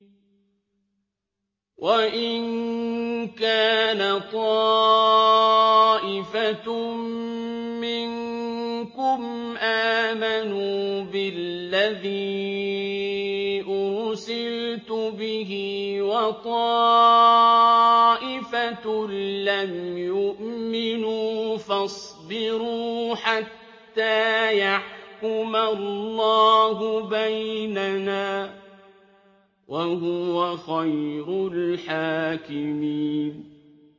وَإِن كَانَ طَائِفَةٌ مِّنكُمْ آمَنُوا بِالَّذِي أُرْسِلْتُ بِهِ وَطَائِفَةٌ لَّمْ يُؤْمِنُوا فَاصْبِرُوا حَتَّىٰ يَحْكُمَ اللَّهُ بَيْنَنَا ۚ وَهُوَ خَيْرُ الْحَاكِمِينَ